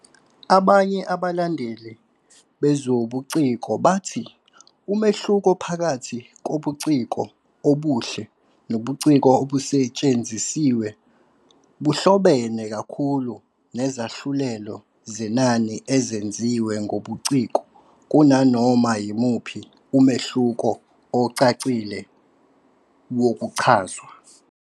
Abanye abalandeli bezobuciko bathi umehluko phakathi kobuciko obuhle nobuciko obusetshenzisiwe buhlobene kakhulu nezahlulelo zenani ezenziwe ngobuciko kunanoma yimuphi umehluko ocacile wokuchazwa.